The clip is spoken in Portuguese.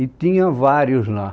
E tinha vários lá.